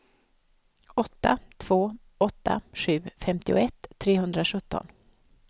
åtta två åtta sju femtioett trehundrasjutton